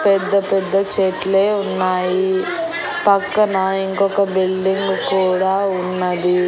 పెద్ద పెద్ద చెట్లే ఉన్నాయి పక్కనా ఇంకొక బిల్డింగు కూడా ఉన్నది.